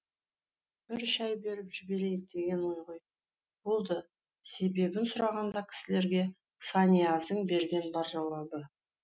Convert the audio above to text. бір шай беріп жіберейік деген ой ғой болды себебінда сұраған кісілерге санияздың берген бар жауабы